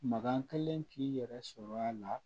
Makan kelen k'i yɛrɛ sɔrɔ a la